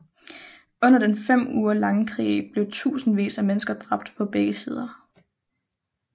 Under den fem uger lange krig blev tusindvis af mennesker dræbt på begge sider